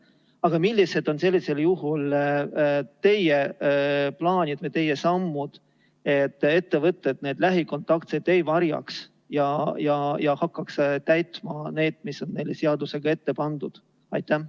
Aga millised on sellisel juhul teie plaanid või teie sammud, et ettevõtted neid lähikontaktseid ei varjaks ja hakkaks täitma seda, mis on neile seadusega ette pandud?